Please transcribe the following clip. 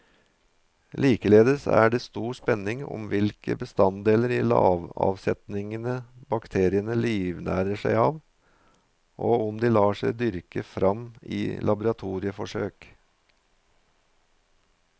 Likeledes er det stor spenning om hvilke bestanddeler i lavaavsetningene bakteriene livnærer seg av, og om de lar seg dyrke frem i laboratorieforsøk.